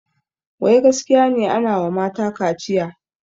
Wai gaskiya ne anawa mata kaciya?